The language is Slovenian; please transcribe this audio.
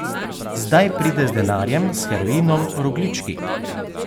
Zdaj pride z denarjem, s heroinom, rogljički.